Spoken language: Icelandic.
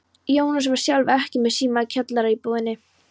Jónas var sjálfur ekki með síma í kjallaraíbúðinni.